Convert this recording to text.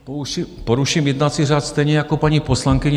Poruším jednací řád, stejně jako paní poslankyně.